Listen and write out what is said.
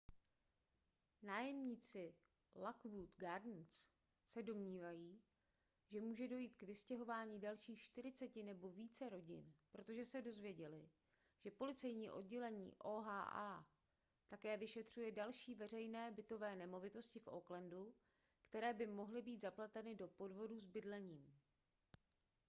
nájemníci lockwood gardens se domnívají že může dojít k vystěhování dalších 40 nebo více rodin protože se dozvěděli že policejní oddělení oha také vyšetřuje další veřejné bytové nemovitosti v oaklandu které by mohly být zapleteny do podvodu s bydlením